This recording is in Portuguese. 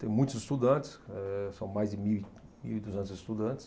Tem muitos estudantes, eh são mais de mil e, mil e duzentos estudantes.